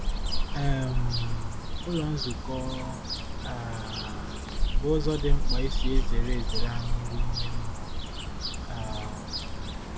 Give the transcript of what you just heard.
um Ụlọ nzukọ um bụ ụzọ dị mkpa e si ezere ezere anyị nri ime mmụọ. um